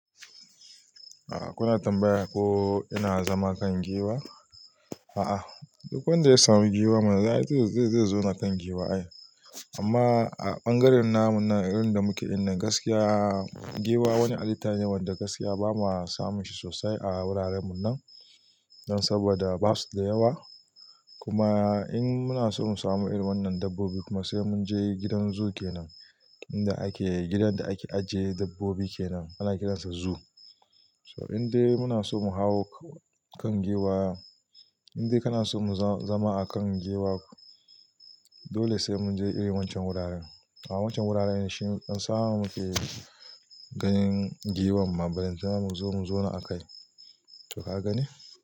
A'a kuna tambaya ko ina zama kan giwa? A'a duk wanda ya samu giwa man zai zauna kan giwa. Amma a ɓangaren namu nan irin da muke nan gaskiya giwa wani halitta ne wanda gaskiya bamu samu shi sosai a wuraren mu nan. Saboda basu da yawa kuma in muna so mu samu irin wannan dabbobin kuma sai mun je gidan zoo kenan. Inda ake, gidan da ake ajiye dabbobi kenan ana kiransa zoo. So indai muna so mu hau kan giwa, indai kana so mu zama a kan giwa dole sai mun je ire wancan wuraren. A'a a wancan wuraren shi in samu muke ganin giwan ma ballantana mu zo mu zauna a kai to ka gane?